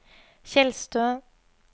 Tjeldstø